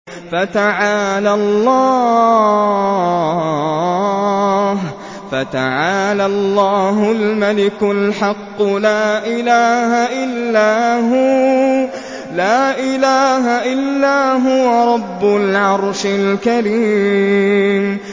فَتَعَالَى اللَّهُ الْمَلِكُ الْحَقُّ ۖ لَا إِلَٰهَ إِلَّا هُوَ رَبُّ الْعَرْشِ الْكَرِيمِ